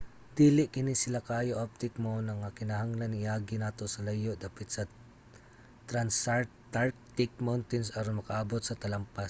dili kini sila kaayo abtik mao na nga kinahanglang i-agi adto sa layo dapit sa transantarctic mountains aron makaabot sa talampas